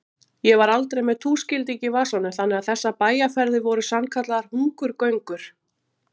Ég var aldrei með túskilding í vasanum þannig að þessar bæjarferðir voru sannkallaðar hungurgöngur.